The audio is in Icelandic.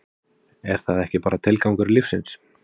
er það ekki bara tilgangur lífsins?